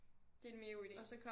Det er en mega god ide